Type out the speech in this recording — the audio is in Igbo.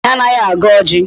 Nwaanyị anaghị agọ ọjị.